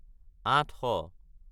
আঠশ